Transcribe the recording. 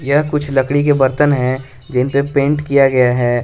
यह कुछ लकड़ी के बर्तन है जिन पे पेंट किया गया है।